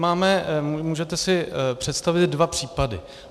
Můžete si představit dva případy.